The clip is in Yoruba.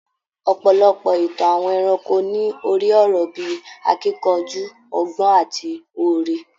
Ọ̀pọ̀lọpọ̀ ìtàn àwọn ẹranko ní orí-ọ̀rọ̀ bí i akíkanjú, ọgbọ́n àti oore.